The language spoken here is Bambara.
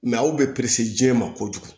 aw bɛ diɲɛ ma kojugu